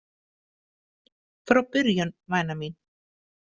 Frá byrjun, væna mín.